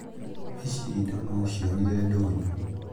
Ici indo no ũcĩonĩre ndũnyũ